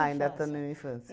Ah, ainda está na minha infância.